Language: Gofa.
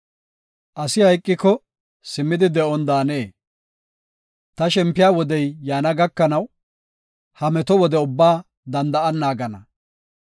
Asi hayqiko simmidi de7on daanee? Ta shempiya wodey yaana gakanaw, ha meto wode ubbaa danda7an naagana.